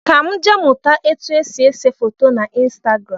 Ka m jee mụta etu esi ese foto na Instagram